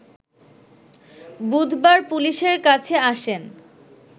বুধবার পুলিশের কাছে আসেন